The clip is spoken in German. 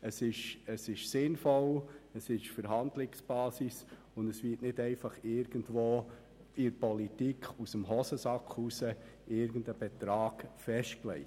Dies ist sinnvoll, es ist die Verhandlungsbasis, und es wird nicht irgendwo in der Politik aus der Hosentasche heraus ein Betrag festgelegt.